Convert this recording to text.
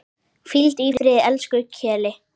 Hvíldu í friði, elsku Keli.